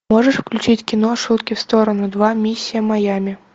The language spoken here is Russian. можешь включить кино шутки в сторону два миссия майами